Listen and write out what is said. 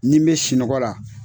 Ni n bɛ sunɔgɔ la.